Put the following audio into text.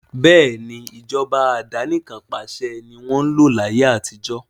Bẹ́ẹ̀ni, Ìjọba àdánikan pàṣẹ ni wọn ń lò láyé àtijó